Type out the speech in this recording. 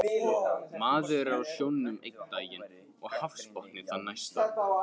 Maður er á sjónum einn daginn og hafsbotni þann næsta